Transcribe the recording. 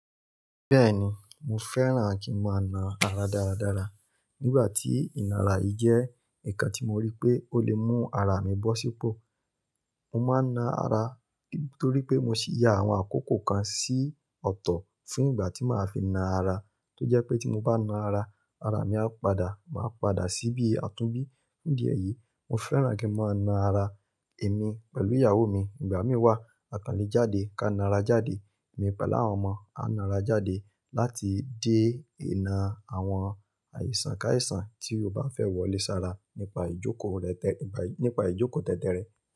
Bẹ́ẹ̀ni, mo fẹ́ràn kí n máa na ara dáradára. Nígbà tí ìnara yìí jẹ́ ǹkan tí mo rí pé ó lè mú ara mi bọ́ sípò, mo máa na ara nítorí pé mo sì ya àwọn àkókò kan sí ọ̀tọ̀ fún ìgbà tí màá fi na ara. Tó jẹ́ pé tí mo bá na ara, ara mi á padà máa padà sí bí a tún bí. Ní diẹ̀ yìí, mo fẹ́ràn kí a máa na ara èmi pẹ̀lú ìyàwó mi. Ìgbà mí wà, àkànlé jáde ká na ara jáde, èmi pẹ̀lú àwọn ọmọ á na ara jáde láti dé ìna àwọn àìsàn káàisàn tí ó bá fẹ́ wọlé sára nípa ìjókòó nípa ìjókòó tẹ́tẹ́ rẹ̀.